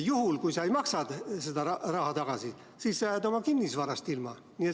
Juhul, kui sa ei maksa seda raha tagasi, siis jääd oma kinnisvarast ilma.